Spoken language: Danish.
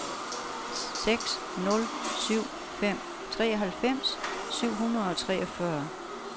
seks nul syv fem treoghalvfems syv hundrede og treogfyrre